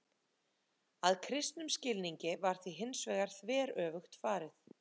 Að kristnum skilningi var því hins vegar þveröfugt farið.